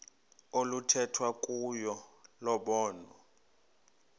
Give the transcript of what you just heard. oluthethwa kuyo lobonwa